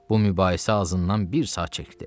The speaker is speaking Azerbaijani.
Bu mübahisə azından bir saat çəkdi.